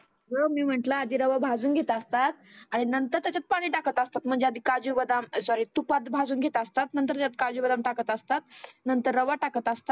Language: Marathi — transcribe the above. आगं मी म्हटलं रवा आधी भाजुन घेत असतात. आणि नंतर त्याच्यात पाणि टाकत असतात. म्हणजे आधी काजु बदाम सॉरी तुपात भाजुन घेत असतात. नंतर काजु बदाम टाकत असतात. नंतर रवा टाकत असतात.